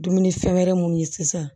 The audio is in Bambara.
Dumuni fɛn wɛrɛ munnu ye sisan